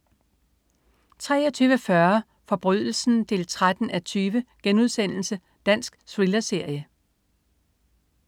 23.40 Forbrydelsen 13:20.* Dansk thrillerserie